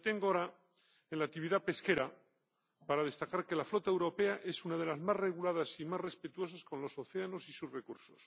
Me detengo ahora en la actividad pesquera para destacar que la flota europea es una de las más reguladas y más respetuosos con los océanos y sus recursos.